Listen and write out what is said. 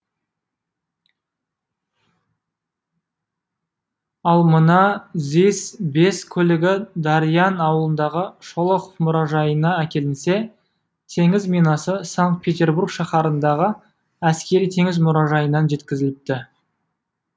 ал мына зис бес көлігі дариян ауылындағы шолохов мұражайынан әкелінсе теңіз минасы санкт петербург шаһарындағы әскери теңіз мұражайынан жеткізіліпті